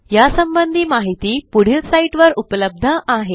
यासंबंधी माहिती पुढील साईटवर उपलब्ध आहे